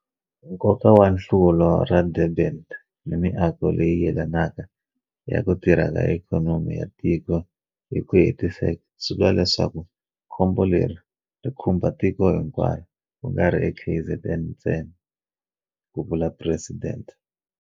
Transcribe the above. Nkoka wa Nhlaluko ra Durban ni miako leyi yelanaka ya ku tirha ka ikhonomi ya tiko hi ku hetiseka swi vula leswaku khombo leri ri khumba tiko hinkwaro ku nga ri eKZN ntsena, ku vula Presidente.